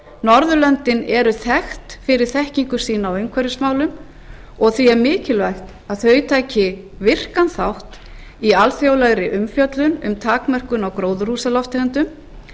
norðurlöndin eru þekkt fyrir þekkingu sína á umhverfismálum því er mikilvægt að þau taki virkan þátt í alþjóðlegri umfjöllun um takmörkun á gróðurhúsalofttegundum